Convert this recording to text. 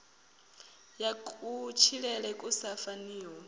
ya kutshilele ku sa faniho